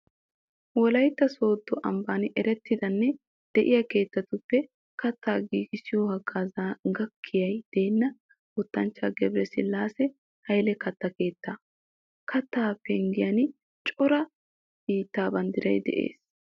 Wolaytta Sooddo ambban erettidanne de'iya keettatuppe kattaa giigissiyo haggaazuwan gakkiyay deenna wotanchchaa Gabresillaase Hayle katta keettaa. Keettaa penggiyan cora biittaa banddiray de'es.